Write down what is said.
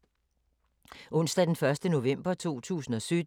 Onsdag d. 1. november 2017